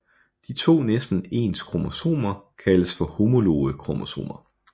De to næsten ens kromosomer kaldes for homologe kromosomer